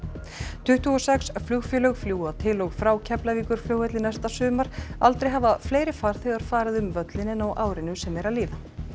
tuttugu og sex flugfélög fljúga til og frá Keflavíkurflugvelli næsta sumar aldrei hafa fleiri farþegar farið um völlinn en á árinu sem er að líða